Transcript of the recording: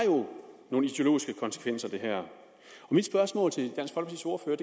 jo nogle ideologiske konsekvenser mit spørgsmål til det